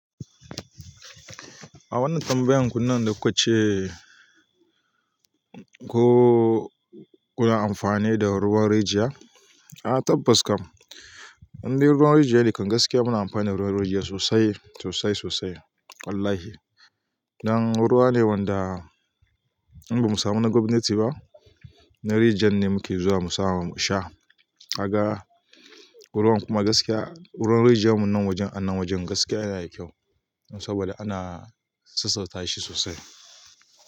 A wannan tambayan ku nan da kuka ce, ko kuna amfani da ruwan rijiya? A tabbas kam, idai dai ruwan rijiya ne, da gaske muna amfani da ruwan rijiya sosai, sosai sosai. Wallahi. Nan ruwa ne wanda idan ba mu samu na gwamnati ba, na rijiyar ne muke zuwa mu samu mu sha. A ga ruwan kuma gaskiya, ruwan rijiya man nan wajen an nan wajen gaskiya yana da kyau, saboda ana sassauta shi sosai.